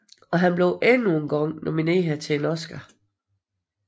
Og han blev endnu engang nomineret til en Oscar